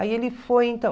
Aí ele foi, então.